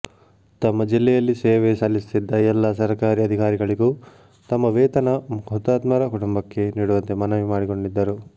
ತಮ್ಮ ಜಿಲ್ಲೆಯಲ್ಲಿ ಸೇವೆ ಸಲ್ಲಿಸುತ್ತಿದ್ದ ಎಲ್ಲಾ ಸರ್ಕಾರಿ ಅಧಿಕಾರಿಗಳಿಗೂ ತಮ್ಮ ವೇತನ ಹುತಾತ್ಮರ ಕುಟುಂಬಕ್ಕೆ ನೀಡುವಂತೆ ಮನವಿ ಮಾಡಿಕೊಂಡಿದ್ದರು